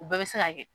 U bɛɛ bɛ se ka kɛ